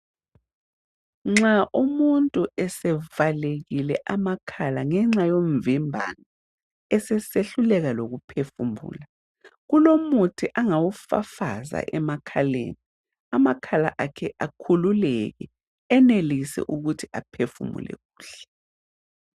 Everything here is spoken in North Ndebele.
Nxa umuntu esevalakile amakhala ngenxa yomvimbano, esesehluleka lokuphefumula. Kulomuthi angawufafaza emakhaleni, amakhala akhe akhululeke, enelise ukuthi aphefumule kuhle.